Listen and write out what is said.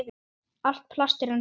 Allt plast er ennþá til.